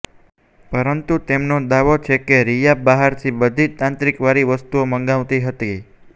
પરંતુ તેમનો દાવો છે કે રિયા બહારથી બધી તાંત્રિક વાળી વસ્તુઓ મંગાવતી હતી